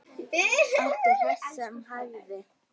Átti hest sem hæfði.